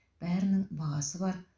бәрінің бағасы бар